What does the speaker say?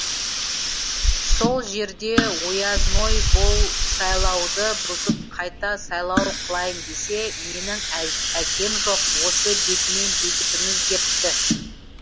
сол жерде оязной бұл сайлауды бұзып қайта сайлау қылайын десе менің әкем жоқ осы бетімен бекітіңіз депті